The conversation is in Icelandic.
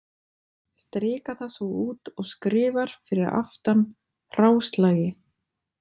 Strikar það svo út og skrifar fyrir aftan: hráslagi.